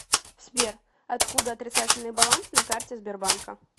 сбер откуда отрицательный баланс на карте сбербанка